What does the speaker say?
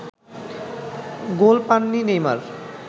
গোল পাননি নেইমার